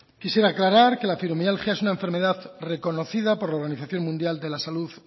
quisiera aclarar que la fibromialgia es una enfermedad reconocida por la organización mundial de la salud